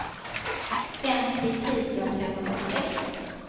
femtio tusen femhundrasex